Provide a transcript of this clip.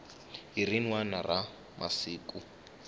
hi rin wana ra masiku